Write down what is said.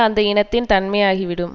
அந்த இனத்தின் தன்மையாகிவிடும்